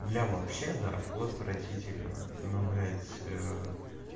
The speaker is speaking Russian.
бля вообще да фу отвратительно но блять